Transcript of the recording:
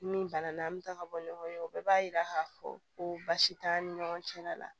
Ni bana na an bɛ taa ka bɔ ɲɔgɔn ye o bɛɛ b'a yira k'a fɔ ko baasi t'an ni ɲɔgɔn cɛ la la